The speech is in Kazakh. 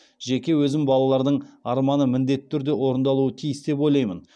жеке өзім балалардың арманы міндетті түрде орындалуы тиіс деп ойлаймын